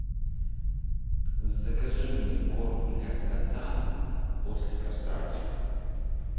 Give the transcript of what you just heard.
закажи мне корм для кота после кастрации